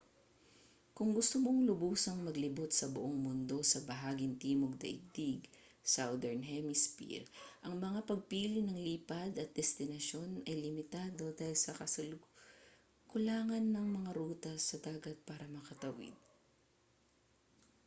kung gusto mong lubusang maglibot sa buong mundo sa bahaging timog ng daigdig southern hemisphere ang mga pagpili ng lipad at destinasyon ay limitado dahil sa kakulangan ng mga ruta sa dagat para makatawid